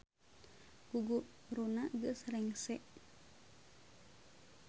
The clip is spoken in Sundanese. Guguruna geus rengse